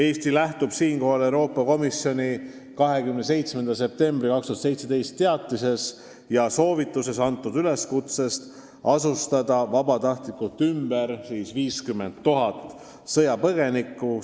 Eesti lähtub siinkohal Euroopa Komisjoni 27. septembri 2017 teatises ja soovituses antud üleskutsest asustada vabatahtlikult ümber 50 000 sõjapõgenikku.